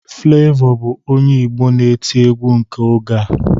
Flavor bụ onye Igbo na-etị egwu nke oge a